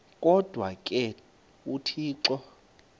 kodwa ke uthixo